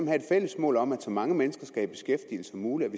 have et fælles mål om at så mange mennesker som muligt